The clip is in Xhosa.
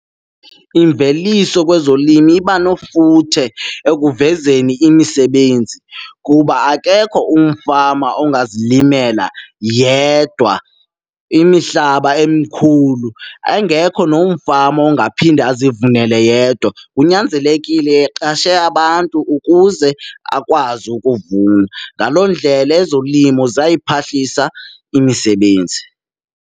Imveliso kwezolimo iba nefuthe ekuvezeni imisebenzi kuba akekho umfama ongazilimela yedwa imihlaba emikhulu, engekho nomfama ongaphinde azivunele yedwa. Kunyanzelekile eqashe abantu ukuze akwazi ukuvuna, ngaloo ndlela ezolimo ziyayiphuhlisa imisebenzi.